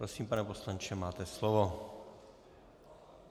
Prosím, pane poslanče, máte slovo.